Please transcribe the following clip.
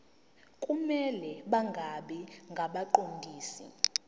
kumele bangabi ngabaqondisi